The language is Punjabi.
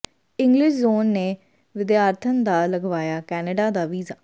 ਇੰਗਲਿਸ਼ ਜ਼ੋਨ ਨੇ ਵਿਦਿਆਰਥਣ ਦਾ ਲਗਵਾਇਆ ਕੈਨੇਡਾ ਦਾ ਵੀਜ਼ਾ